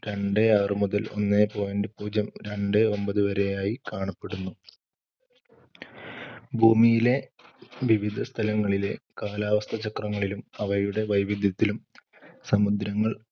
രണ്ടേ ആറു മുതല്‍ ഒന്നേ point പൂജ്യം രണ്ടേ ഒമ്പത് വരെയായി കാണപ്പെടുന്നു. ഭൂമിയിലെ വിവിധസ്ഥലങ്ങളിലെ കാലാവസ്ഥാചക്രങ്ങളിലും അവയുടെ വൈവിധ്യത്തിലും സമുദ്രങ്ങൾ